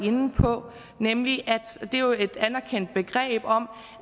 inde på nemlig at det jo er et anerkendt begreb om